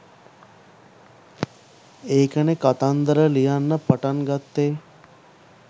ඒකනේ කතන්දර ලියන්න පටන් ගත්තේ